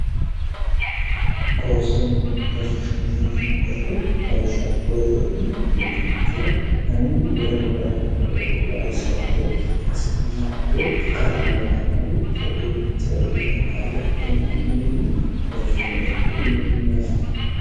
koostu mineetiyinemmo beete lawishaxa koye hee'ne miktu manchira ani wole gobbara hee'ne wole gobbae soyte hasi'maikiro qarru noonke amare ku'imanchira iellanno hayyattemaagineemmo poostu mineetir yineemmo yaari